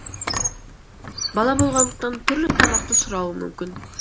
бала болғандықтан түрлі тамақты сұрауы мүмкін